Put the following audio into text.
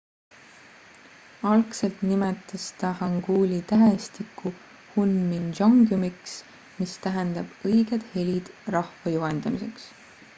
algselt nimetas ta hanguli tähestikku hunmin jeongeumiks mis tähendab õiged helid rahva juhendamiseks